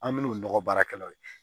An min'o nɔgɔ baarakɛlaw ye